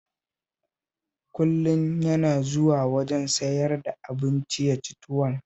Kullum yana zuwa wajen sayar da abinci ya ci tuwo